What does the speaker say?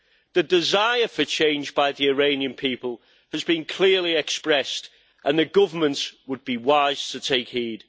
The desire for change by the Iranian people has been clearly expressed, and the government would be wise to take heed.